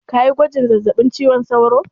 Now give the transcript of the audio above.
Kayi gwajin zazzaɓin cizon sauro?